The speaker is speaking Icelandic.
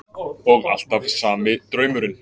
Og alltaf sami draumurinn.